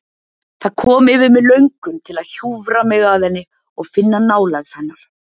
Það kom yfir mig löngun til að hjúfra mig að henni og finna nálægð hennar.